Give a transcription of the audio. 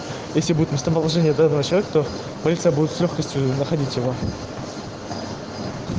если будет местоположение до начала кто-то будет с лёгкостью находить его